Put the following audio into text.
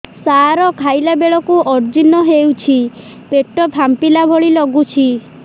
ସାର ଖାଇଲା ବେଳକୁ ଅଜିର୍ଣ ହେଉଛି ପେଟ ଫାମ୍ପିଲା ଭଳି ଲଗୁଛି